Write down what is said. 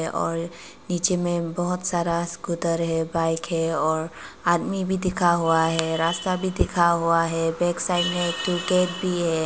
और नीचे में बहोत सारा स्कूटर है बाइक है और आदमी भी दिखा हुआ है रास्ता भी दिखा हुआ है बैक साइड में एक ठो गेट भी है।